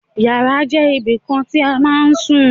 Yàrá jẹ́ ibìkan tí a ma ń sùn.